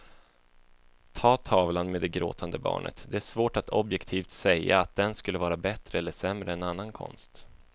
Ta tavlan med det gråtande barnet, det är svårt att objektivt säga att den skulle vara bättre eller sämre än annan konst.